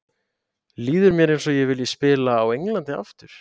Líður mér eins og ég vilji spila á Englandi aftur?